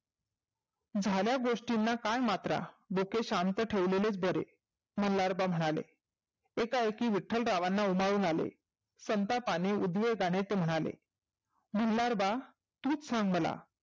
झाल्या गोष्टींना काय मात्रा? डोके शांत ठेवलेलेच बरे. मल्हारबा म्हणाले. एका एकी विठ्ठलरावांना उमाळून आले संतापाने, उद्वीताने ते म्हणाले. मल्हारबा तुच सांग मला.